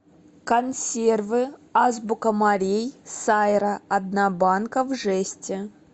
консервы азбука морей сайра одна банка в жести